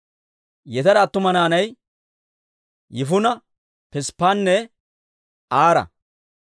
Yetera attuma naanay Yifuna, Pisppanne Aara.